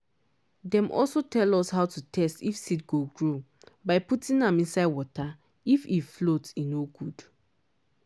dem also train us how to test if seed go grow by putting am inside water-if he float he no good